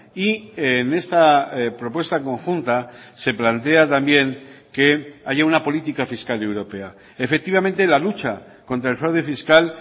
y en esta propuesta conjunta se plantea también que haya una política fiscal europea efectivamente la lucha contra el fraude fiscal